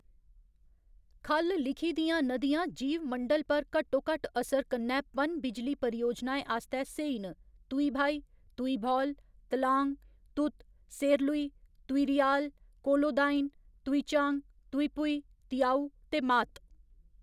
ख'ल्ल लिखी दियां नदियां जीवमंडल पर घट्टोघट्ट असर कन्नै पन बिजली परियोजनाएं आस्तै स्हेई न तुइभाइ, तुइभौल, त्लांग, तुत, सेरलुइ, तुइरियाल, कोलोदाइन, तुइचांग, ​​तुइपुइ, तियाउ ते मात।